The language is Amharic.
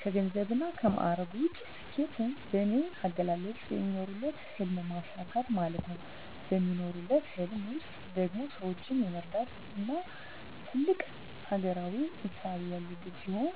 ከገንዘብና ከማዕረግ ውጭ፣ ስኬት በኔ አገላለጽ የሚኖሩለትን ህልም ማሳካት ማለት ነው። በሚኖሩለት ህልም ውስጥ ደግሞ ሰወችን የመርዳትና ትልቅ አገራዊ እሳቤ ያለበት ሲሆን